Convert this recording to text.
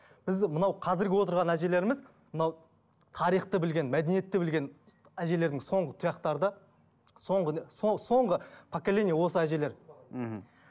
біз мынау қазіргі отырған әжелеріміз мынау тарихты білген мәдениетті білген әжелердің соңғы тұяқтары да соңғы соңғы поколение осы әжелер мхм